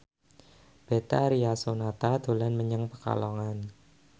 Betharia Sonata dolan menyang Pekalongan